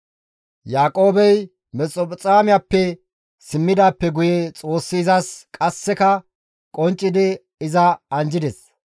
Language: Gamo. Yaaqoobey Mesphexoomiyappe simmidaappe guye Xoossi izas qasseka qonccidi iza anjjides;